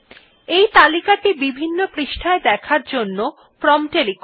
এই তালিকা টি বিভিন্ন পৃষ্ঠায় দেখার জন্য প্রম্পট এ লিখুন